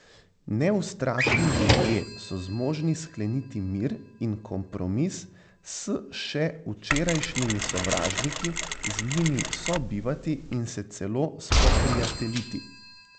Neustrašni ljudje so zmožni skleniti mir in kompromis s še včerajšnjimi sovražniki, z njimi sobivati in se celo spoprijateljiti.